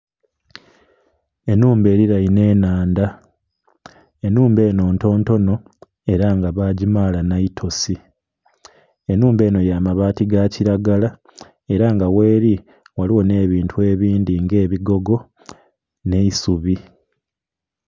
Enhumba erirenhe enhandha, enhumba eno entontono era nga bagimala nhaitosi, enhumba enho ya mabaati gakiragala era nga gheli ghaligho nh'ebintu ebindhi nga ebigogo nh'eisubi.